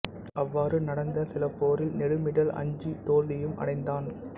அவ்வாறு நடந்த சில போரில் நெடுமிடல் அஞ்சி தோல்வியும் அடைந்தான்